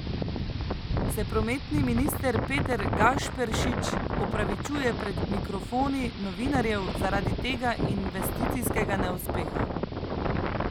Se prometni minister Peter Gašperšič opravičuje pred mikrofoni novinarjev zaradi tega investicijskega neuspeha?